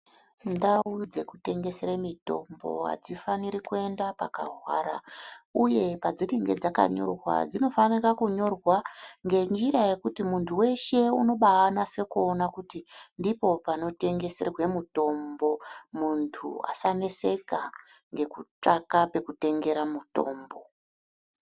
Ndau dzekutengesere mitombo hadzifanire kuenda pakahwara, uye padzinenge dzakanyorwa dzinofanira kunyorwa ngenjira yekuti muntu weshe unobanyasekuwona kuti ndipo panotengeserwe mutombo. Muntu asaneseka ngekutsvaga pekutengera mutombo.